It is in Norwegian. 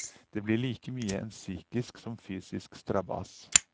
Det blir like mye en psykisk som fysisk strabas.